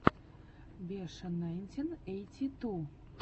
беша найнтин эйти ту